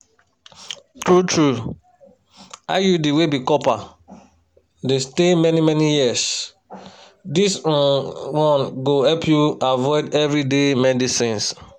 true-true iud wey be copper dey stay many-many years this um one go help you avoid everyday medicines.